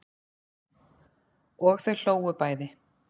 Og þau hlógu bæði.